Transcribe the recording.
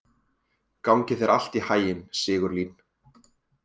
Gangi þér allt í haginn, Sigurlín.